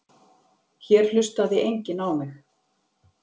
Hér hlustaði enginn á mig.